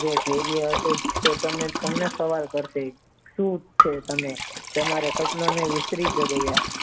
જે ધૈર્ય હતો તે તે તને સવાલ કરશે સુ છે તમને તમારા સપનાને સુ ગણાય